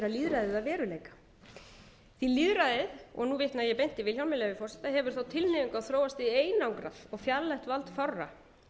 lýðræðið að veruleika því lýðræðið og nú vitna ég beint í vilhjálm með leyfi forseta hefur þá tilhneigingu að þróast í einangrað og fjarlægt vald